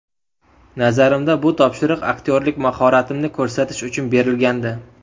Nazarimda, bu topshiriq aktyorlik mahoratimni ko‘rsatish uchun berilgandi.